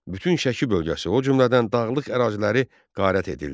Bütün Şəki bölgəsi, o cümlədən dağlıq əraziləri qarət edildi.